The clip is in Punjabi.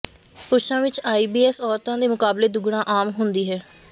ਪੁਰਸ਼ਾਂ ਵਿਚ ਆਈਬੀਐਸ ਔਰਤਾਂ ਦੇ ਮੁਕਾਬਲੇ ਦੁੱਗਣਾ ਆਮ ਹੁੰਦੀ ਹੈ